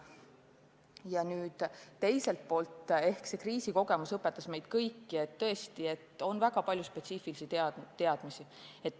Ja nüüd teiselt poolt see kriisikogemus õpetas meid kõiki, et tõesti, on vaja väga palju spetsiifilisi teadmisi.